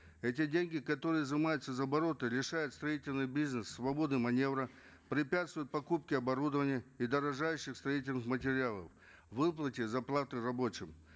эти деньги которые изымаются из оборота лишают строительный бизнес свободы маневра препятствуют покупке оборудования и дорожающих строительных материалов выплате зарплаты рабочим